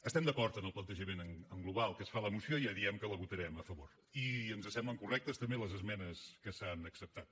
estem d’acord amb el plantejament en global que es fa a la moció i ja diem que la votarem a favor i ens semblen correctes també les esmenes que s’han acceptat